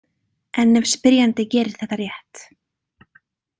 En ef spyrjandi gerir þetta rétt.